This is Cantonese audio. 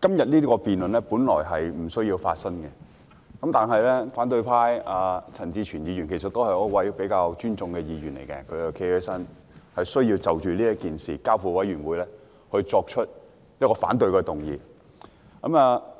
今天這項辯論本來不會發生，但反對派的陳志全議員——他是一位我比較尊重的議員——站起來提出一項反對將這項譴責議案所述的事宜交付調查委員會處理的議案，